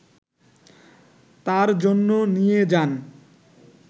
তার জন্য নিয়ে যান